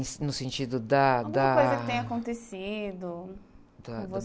No sentido da, da...lguma coisa que tenha acontecido com